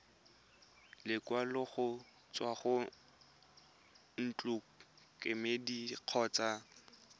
lekwalo go tswa ntlokemeding kgotsa